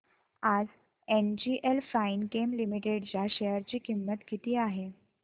आज NGL Finechem limited च्या share ची किंमत किती आहे